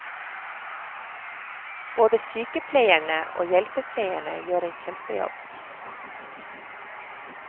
Både sykepleierne og hjelpepleierne gjør en kjempejobb.